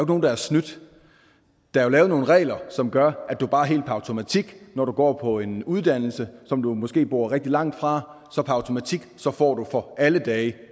nogen der har snydt der er lavet nogle regler som gør at du bare helt per automatik når du går på en uddannelse som du måske bor rigtig langt fra får for alle dage